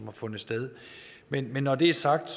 har fundet sted men men når det er sagt